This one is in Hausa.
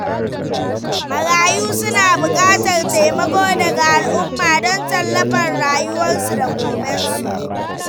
Marayu suna buƙatar taimako daga al'umma don tallafar rayuwarsu da gobensu.